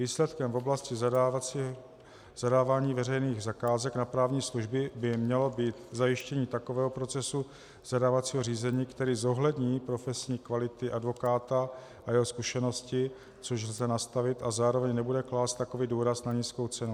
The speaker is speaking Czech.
Výsledkem v oblasti zadávání veřejných zakázek na právní služby by mělo být zajištění takového procesu zadávacího řízení, který zohlední profesní kvality advokáta a jeho zkušenosti, což lze nastavit, a zároveň nebude klást takový důraz na nízkou cenu.